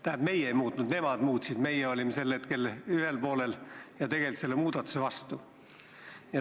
Tähendab, meie ei muutnud, nemad muutsid – meie olime sel hetkel teisel poolel ja tegelikult selle muudatuse vastu.